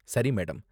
சரி மேடம்.